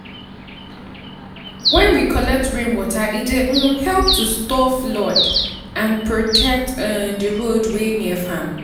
when we collect rainwater e dey um help to stop flood and protect um di road wey near farm.